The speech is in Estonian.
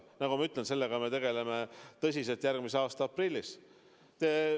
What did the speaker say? Nagu ma ütlesin, sellega me tegeleme tõsiselt järgmise aasta aprillis.